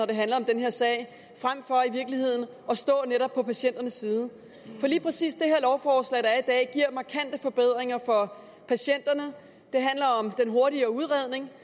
det handler om den her sag frem for at stå netop på patienternes side for lige præcis det her lovforslag der er i dag giver markante forbedringer for patienterne det handler om den hurtigere udredning